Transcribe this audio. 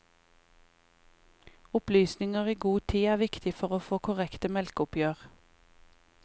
Opplysninger i god tid er viktig for å få korrekte melkeoppgjør.